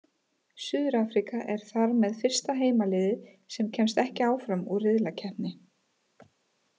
Suður-Afríka er þar með fyrsta heimaliðið sem kemst ekki áfram úr riðlakeppni.